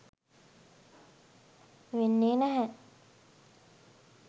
වෙන්නේ නැහැ.